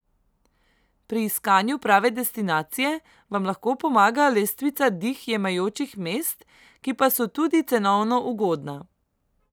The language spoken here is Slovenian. Pri iskanju prave destinacije vam lahko pomaga lestvica dih jemajočih mest, ki pa so tudi cenovno ugodna.